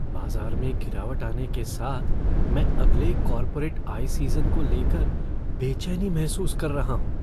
बाज़ार में गिरावटआने के साथ, मैं अगले कॉर्पोरेट आय सीज़न को ले कर बेचैनी महसूस कर रहा हूँ।